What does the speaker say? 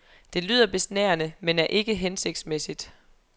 Det lyder besnærende, men er ikke hensigtsmæssigt.